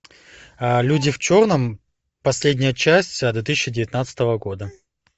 люди в черном последняя часть две тысячи девятнадцатого года